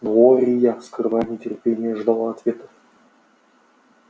глория скрывая нетерпение ждала ответа